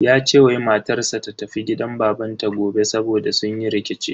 Ya ce wai matar sa ta tafi gidan babanta gobe saboda sun yi rikici.